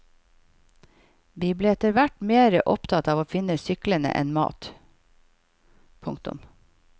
Vi ble etterhvert mere opptatt av å finne syklene enn mat. punktum